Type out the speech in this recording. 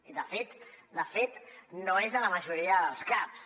i de fet de fet no és a la majoria dels caps